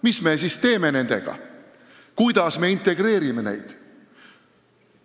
Mis me siis teeme nendega, kuidas me neid integreerime?